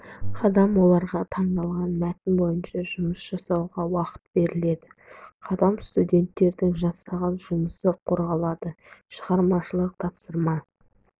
қадам оларға тыңдалған мәтін бойынша жұмыс жасауға уақыт беріледі қадам студенттердің жасаған жұмысы қорғалады шығармашылық тапсырма